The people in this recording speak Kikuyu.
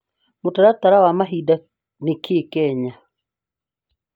mũtaratara wa mahinda nĩ kĩĩ Kenya